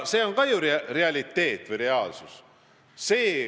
See on realiteet, reaalsus.